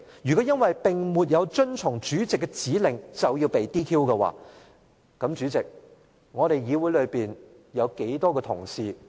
如果因為沒有遵從主席的指令便要被 "DQ"， 那麼主席，立法會有多少議員同事要被 "DQ"？